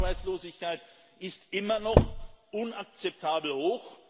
Die Jugendarbeitslosigkeit ist immer noch inakzeptabel hoch.